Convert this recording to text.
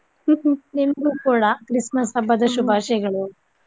ನಿಮ್ಗು ಕೂಡಾ Christmas ಹಬ್ಬದ ಶುಭಾಶಯಗಳು.